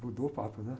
Mudou o papo, né?